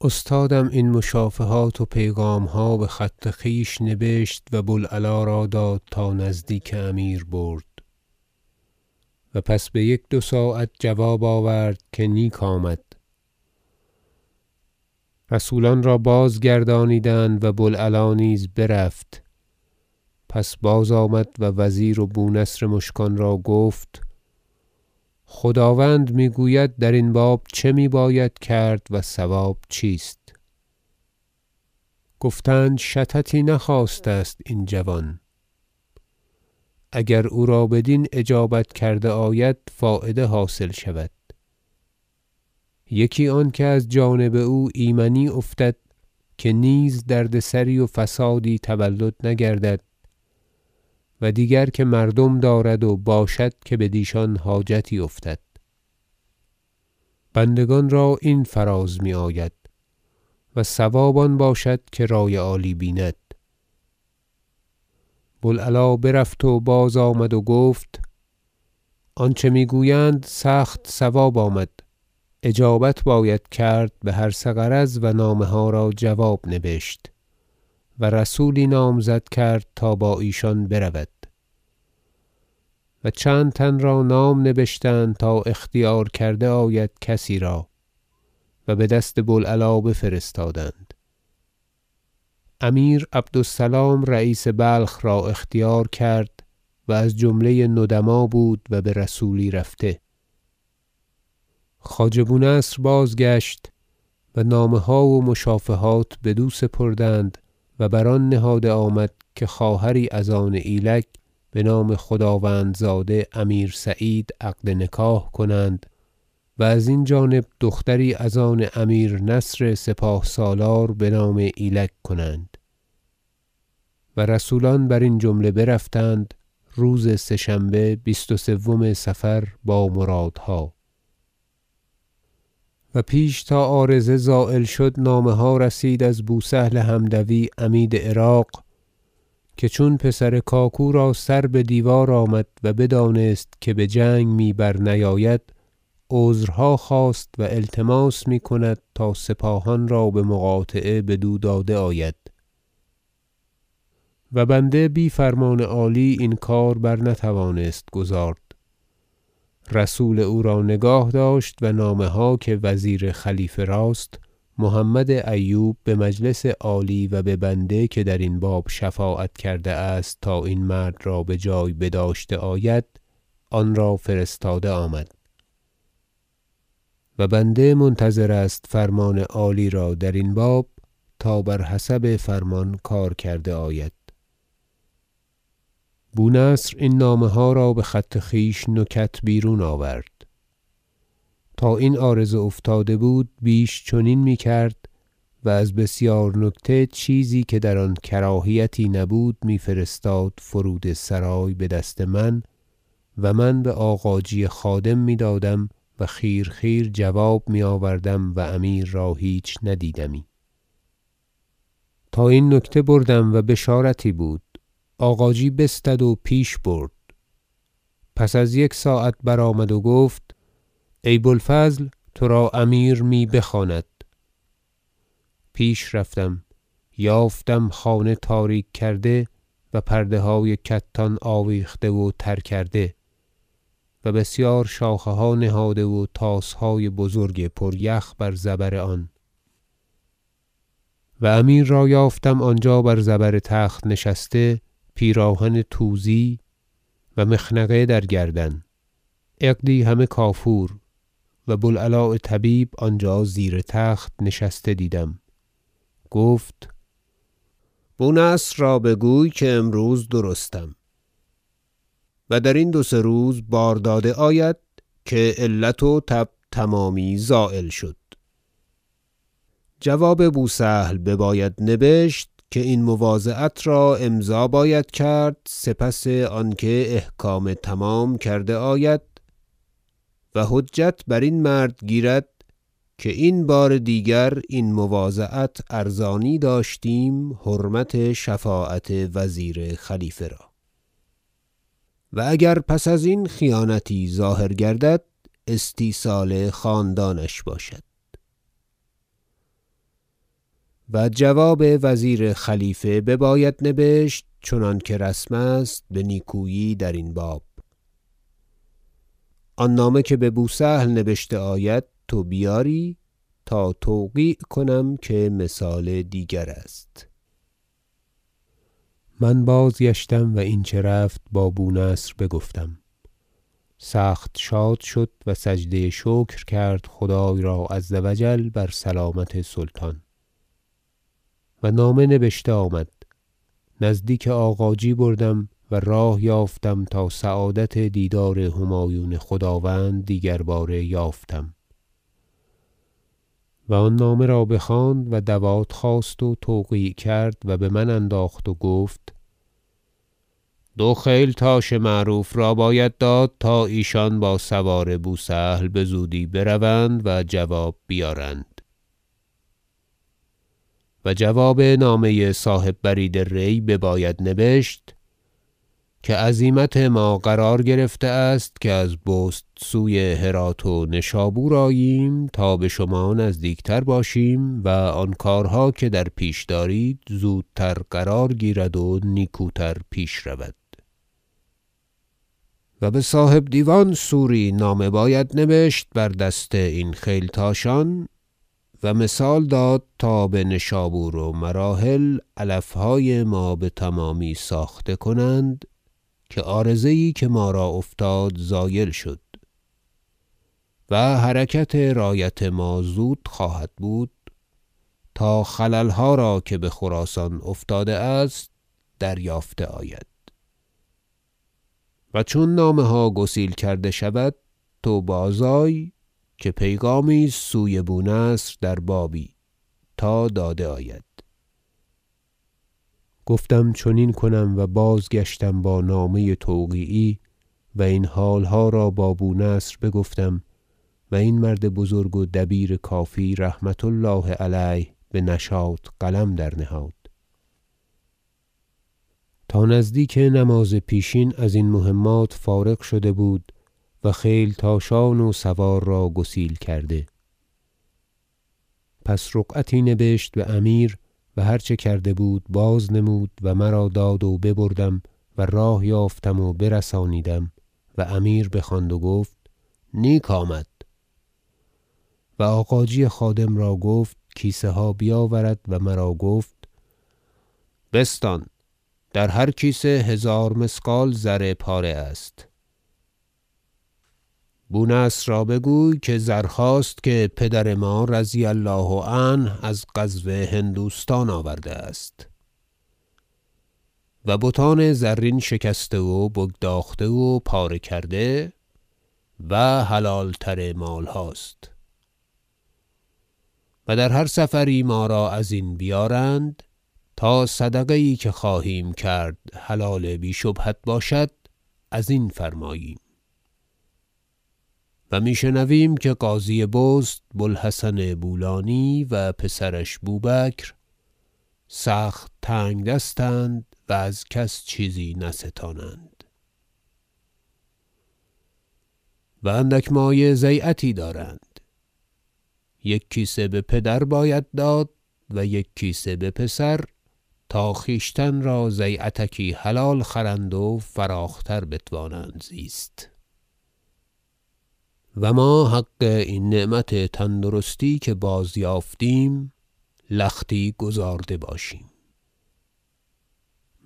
استادم این مشافهات و پیغام ها به خط خویش نبشت و بوالعلاء را داد تا نزدیک امیر برد و پس به یک دو ساعت جواب آورد که نیک آمد رسولان را بازگردانیدند و بوالعلاء نیز برفت پس باز آمد و وزیر و بونصر مشکان را گفت خداوند می گوید درین باب چه می باید کرد و صواب چیست گفتند شططی نخواسته است این جوان اگر او را بدین اجابت کرده آید فایده حاصل شود یکی آنکه از جانب او ایمنی افتد که نیز دردسری و فسادی تولد نگردد و دیگر که مردم دارد و باشد که بدیشان حاجتی افتد بندگان را این فراز می آید و صواب آن باشد که رای عالی بیند بوالعلاء برفت و باز آمد و گفت آنچه می گویند سخت صواب آمد اجابت باید کرد به هر سه غرض و نامه ها را جواب نبشت و رسولی نامزد کرد تا با ایشان برود و چند تن را نام نبشتند تا اختیار کرده آید کسی را و به دست بوالعلاء بفرستادند امیر عبد- السلام رییس بلخ را اختیار کرد و از جمله ندما بود و به رسولی رفته خواجه بونصر بازگشت و نامه ها و مشافهات بدو سپردند و بر آن نهاده آمد که خواهری از آن ایلگ بنام خداوندزاده امیر سعید عقد نکاح کنند و ازین جانب دختری از آن امیر نصر سپاه سالار بنام ایلگ کنند و رسولان برین جمله برفتند روز سه شنبه بیست و سوم صفر با مرادها و پیش تا عارضه زایل شد نامه ها رسید از بوسهل حمدوی عمید عراق که چون پسر کاکو را سر به دیوار آمد و بدانست که به جنگ می برنیاید عذرها خواست و التماس می کند تا سپاهان را به مقاطعه بدو داده آید و بنده بی فرمان عالی این کار برنتوانست گزارد رسول او را نگاه داشت و نامه ها که وزیر خلیفه راست محمد ایوب به مجلس عالی و به بنده که درین باب شفاعت کرده است تا این مرد را بجای بداشته آید آن را فرستاده آمد و بنده منتظر است فرمان عالی را درین باب تا بر حسب فرمان کار کرده آید بونصر این نامه ها را به خط خویش نکت بیرون آورد تا این عارضه افتاده بود بیش چنین می کرد و از بسیار نکته چیزی که در آن کراهیتی نبود می فرستاد فرود سرای به دست من و من به آغاجی خادم می دادم و خیر خیر جواب می آوردم و امیر را هیچ ندیدمی تا این نکته بردم و بشارتی بود آغاجی بستد و پیش برد پس از یک ساعت برآمد و گفت ای بوالفضل ترا امیر می بخواند پیش رفتم یافتم خانه تاریک کرده و پرده های کتان آویخته و تر کرده و بسیار شاخه ها نهاده و طاس های بزرگ پر یخ بر زبر آن و امیر را یافتم آنجا بر زبر تخت نشسته پیراهن توزی بر تن و مخنقه در گردن عقدی همه کافور و بوالعلاء طبیب آنجا زیر تخت نشسته دیدم گفت بونصر را بگوی که امروز درستم و درین دو سه روز بار داده آید که علت و تب تمامی زایل شد جواب بوسهل بباید نبشت که این مواضعت را امضا باید کرد سپس آنکه احکام تمام کرده آید و حجت بر این مرد گیرد که این بار دیگر این مواضعت ارزانی داشتیم حرمت شفاعت وزیر خلیفه را و اگر پس ازین خیانتی ظاهر گردد استیصال خاندانش باشد و جواب وزیر خلیفه بباید نبشت چنانکه رسم است به نیکویی درین باب آن نامه که به بوسهل نبشته آید تو بیاری تا توقیع کنم که مثال دیگر است من بازگشتم و این چه رفت با بونصر بگفتم سخت شاد شد و سجده شکر کرد خدای را عز و جل بر سلامت سلطان و نامه نبشته آمد نزدیک آغاجی بردم و راه یافتم تا سعادت دیدار همایون خداوند دیگرباره یافتم و آن نامه را بخواند و دوات خواست و توقیع کرد و به من انداخت و گفت دو خیل تاش معروف را باید داد تا ایشان با سوار بوسهل به زودی بروند و جواب بیارند و جواب نامه صاحب برید ری بباید نبشت که عزیمت ما قرار گرفته است که از بست سوی هرات و نشابور آییم تا به شما نزدیک تر باشیم و آن کارها که در پیش دارید زودتر قرار گیرد و نیکوتر پیش رود و به صاحب دیوان سوری نامه باید نبشت بر دست این خیلتاشان و مثال داد تا به نشابور و مراحل علف های ما به تمامی ساخته کنند که عارضه یی که ما را افتاد زایل شد و حرکت رایت ما زود خواهد بود تا خلل ها را که به خراسان افتاده است دریافته آید و چون نامه ها گسیل کرده شود تو باز آی که پیغامی است سوی بونصر در بابی تا داده آید گفتم چنین کنم و بازگشتم با نامه توقیعی و این حال ها را با بونصر بگفتم و این مرد بزرگ و دبیر کافی رحمة الله علیه به نشاط قلم در نهاد تا نزدیک نماز پیشین ازین مهمات فارغ شده بود و خیلتاشان و سوار را گسیل کرده پس رقعتی نبشت به امیر و هر چه کرده بود بازنمود و مرا داد و ببردم و راه یافتم و برسانیدم و امیر بخواند و گفت نیک آمد و آغاجی خادم را گفت کیسه ها بیاورد و مرا گفت بستان در هر کیسه هزار مثقال زرپاره است بونصر را بگوی که زرهاست که پدر ما رضی الله عنه از غزو هندوستان آورده است و بتان زرین شکسته و بگداخته و پاره کرده و حلال تر مال هاست و در هر سفری ما را ازین بیارند تا صدقه یی که خواهیم کرد حلال بی شبهت باشد ازین فرماییم و می شنویم که قاضی بست بوالحسن بولانی و پسرش بوبکر سخت تنگدست اند و از کس چیزی نستانند و اندک مایه ضیعتی دارند یک کیسه به پدر باید داد و یک کیسه به پسر تا خویشتن را ضیعتکی حلال خرند و فراخ تر بتوانند زیست و ما حق این نعمت تندرستی که بازیافتیم لختی گزارده باشیم